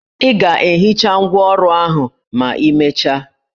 Ị ga-ehicha ngwá ọrụ ahụ ma imecha